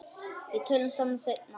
Við tölum saman seinna.